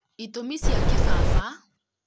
itũmi cia kĩbaba